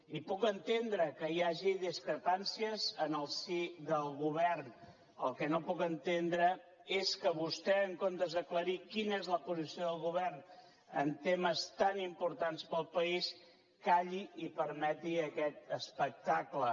i puc entendre que hi hagi discrepàncies en el si del govern el que no puc entendre és que vostè en comptes d’aclarir quina és la posició del govern en temes tan importants per al país calli i permeti aquest espectacle